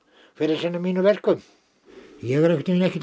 sinna mínum verkum ég er einhvern veginn ekkert